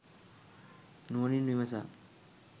නුවණින් විමසා